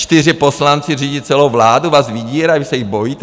Čtyři poslanci řídí celou vládu, vás vydírají, vy se jich bojíte?